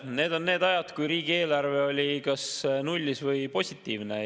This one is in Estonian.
Need on need ajad, kui riigieelarve oli kas nullis või positiivne.